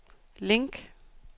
link